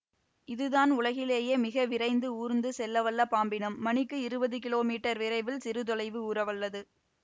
இதுதான் உலகிலேயே மிக விரைந்து ஊர்ந்து செல்லவல்ல பாம்பினம் மணிக்கு இருவது கிலோமீட்டர் விரைவில் சிறு தொலைவு ஊரவல்லது